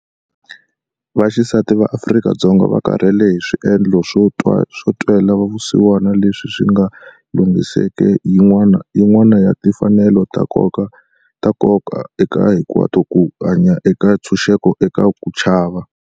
Vaxisati va Afrika-Dzonga va karhele hi swiendlo swo twela vusiwana leswi swi nga lunghiseki yin'wana ya timfanelo ta nkoka eka hinkwato ku hanya eka ntshuxeko eka ku chava.